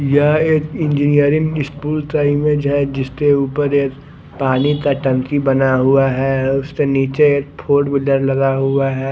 यह एक engineering school time है जहा जिसमे उपर एक पानी का टंकी बना हुआ है उसके निचे एक फोरविलर लगा हुआ है।